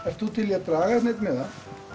ert þú til í draga hérna einn miða